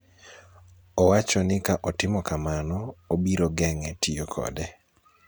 Owacho ni ka otimo kamano, obiro geng�e tiyo kode.